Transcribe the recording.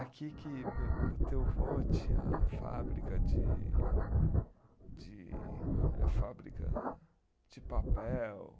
Aqui que me, o teu vô tinha a fábrica de de, eh fábrica de papel.